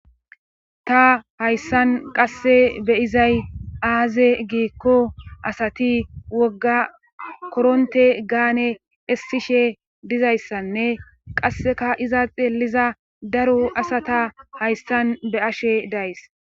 ta hayssan qasse beyizay aaze giikko asati wogga koronte gaane essishe dizayssanne qasseka iza xeeliza daro asata hayssan be ashe days